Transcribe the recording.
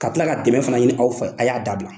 Ka tila ka dɛmɛ fana ɲini aw fɛ a y'a dabila.